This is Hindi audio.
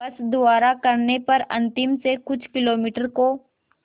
बस द्वारा करने पर अंतिम से कुछ किलोमीटर को